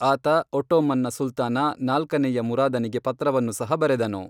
ಆತ ಒಟ್ಟೋಮನ್ನ ಸುಲ್ತಾನ, ನಾಲ್ಕನೇಯ ಮುರಾದನಿಗೆ ಪತ್ರವನ್ನು ಸಹ ಬರೆದನು.